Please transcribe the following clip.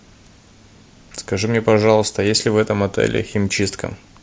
скажи мне пожалуйста есть ли в этом отеле химчистка